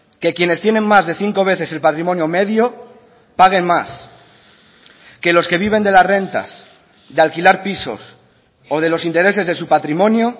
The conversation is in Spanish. que quienes tienen más de cinco veces el patrimonio medio paguen más que los que viven de las rentas de alquilar pisos o de los intereses de su patrimonio